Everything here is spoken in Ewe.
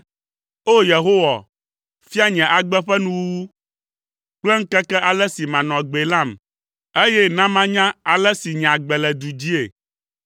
“O! Yehowa, fia nye agbe ƒe nuwuwu kple ŋkeke ale si manɔ agbee lam; eye na manya ale si nye agbe le du dzii.